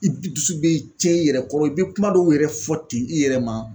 I dusu bɛ cɛn i yɛrɛ kɔrɔ i bɛ kuma dɔw yɛrɛ fɔ ten i yɛrɛ ma